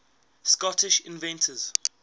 scottish inventors